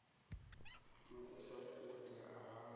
na u sa fhungudzea ha